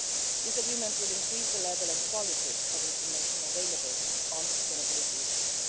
This agreement will increase the level and quality of information available on sustainability issues.